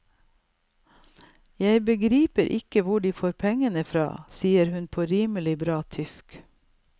Jeg begriper ikke hvor de får pengene fra, sier hun på et rimelig bra tysk.